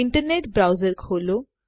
internet browser ખોલો